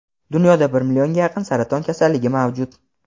Dunyoda bir millionga yaqin saraton kasalligi mavjud.